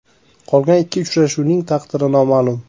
Qolgan ikki uchuvchining taqdiri noma’lum.